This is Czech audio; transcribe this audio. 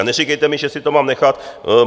A neříkejte mi, že si to mám nechat.